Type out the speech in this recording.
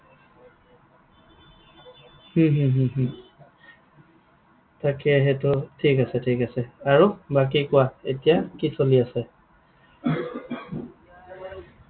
হম হম হম হম তাকে, সেইটো ঠিক আছে, ঠিক আছে। আৰু, বাকী কোৱা, এতিয়া কি চলি আছে?